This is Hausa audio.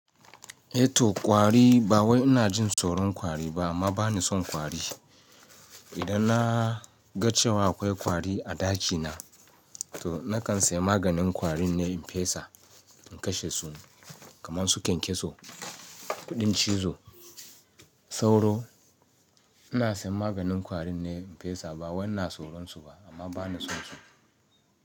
Eh to kwari ba wai ina jin tsoron kwari ba amma ba ni son kwari. Idan na ga cewa akwai kwari a ɗakina, to na kan saya maganin kwarin ne in fesa in kashe su kamar su kyankyaso, kuɗin cizo, sauro. Ina sayen maganin kwari ne in fesa ba wani na tsoron su ba amma ba ni son su.